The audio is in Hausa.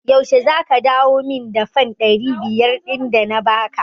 Yaushe za ka dawo min da fan ɗari biyar ɗin da na ba ka?